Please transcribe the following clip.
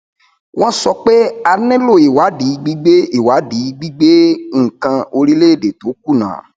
wọn sọ pé a nílò ìwádìí gbígbé ìwádìí gbígbé nnkan orílẹèdè tó kùnà